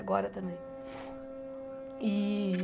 Agora também. E